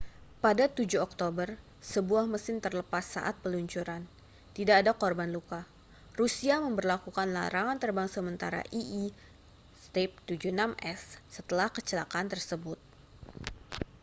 pada 7 oktober sebuah mesin terlepas saat peluncuran tidak ada korban luka rusia memberlakukan larangan terbang sementara il-76s setelah kecelakaan tersebut